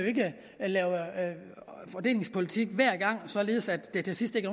lave fordelingspolitik hver gang således at der til sidst ikke